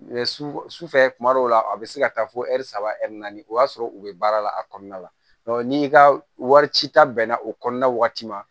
Sufɛ tuma dɔw la a bɛ se ka taa fɔ ɛri saba ɛri naani o y'a sɔrɔ u bɛ baara la a kɔnɔna la n'i ka wari ci ta bɛnna o kɔnɔna waati ma